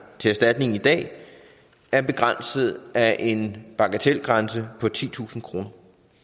til erstatning i dag er begrænset af en bagatelgrænse på titusind kroner